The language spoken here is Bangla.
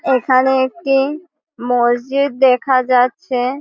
এখানে একটি মসজিদ দেখা যাচ্ছে।